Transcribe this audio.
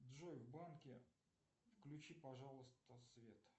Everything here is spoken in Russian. джой в банке включи пожалуйста свет